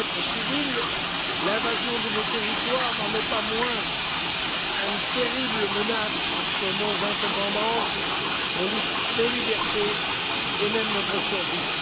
Civile, l'invasion de nos territoires n'en est pas moins une terrible menace sur nos indépendances, nos libertés et même notre survie.